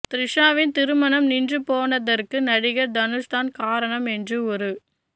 த்ரிஷாவின் திருமணம் நின்று போனதற்கு நடிகர் தனுஷ்தான் காரணம் என்று ஒரு